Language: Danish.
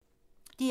DR2